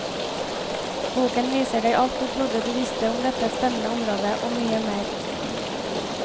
Boken viser deg alt du trodde du visste om dette spennende området, og mye mer.